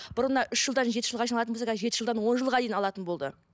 бұрында үш жылдан жеті жылға шейін алатын болса қазір жеті жылдан он жылға дейін алатын болды